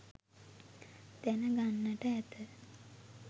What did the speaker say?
දැනගන්නට ඇත